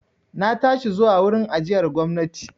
Na tashi zuwa wurin ajiyar gwamnati.